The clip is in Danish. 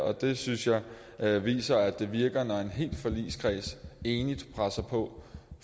og det synes jeg jeg viser at det virker når en hel forligskreds enigt presser på